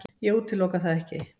Ég útiloka það ekki.